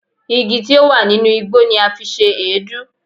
Igi tí ó wà nínú igbó ni a fi ṣe èédú.